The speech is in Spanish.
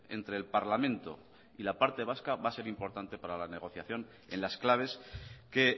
entre el parlamento y la parte vasca va a ser importante para la negociación en las claves que